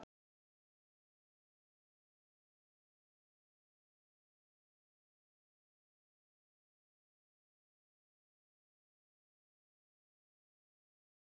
Þar eru tölulegar niðurstöður fengnar með útreikningum sem við fyrstu sýn virðast merkingarleysa.